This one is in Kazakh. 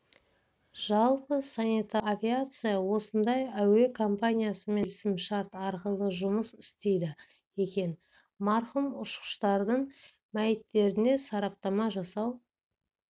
жалпы санитарлық авиация осындай әуе компаниясымен келісім-шарт арқылы жұмыс істейді екен марқұм ұшқыштардың мәйіттеріне сараптама жасау